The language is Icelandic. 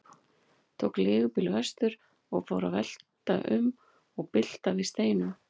Tók leigubíl vestur og fór að velta um og bylta við steinum.